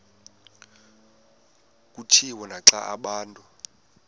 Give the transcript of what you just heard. kutshiwo naxa abantu